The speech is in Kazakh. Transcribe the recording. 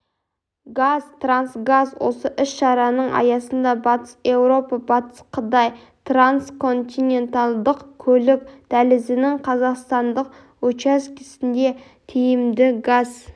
қазтрансгаз осы іс-шараның аясында батыс еуропа батыс қытай трансконтинентальдық көлік дәлізінің қазақстандық учаскесінде тиімді газ